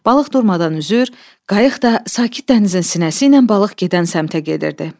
Balıq durmadan üzür, qayıq da sakit dənizin sinəsi ilə balıq gedən səmtə gedirdi.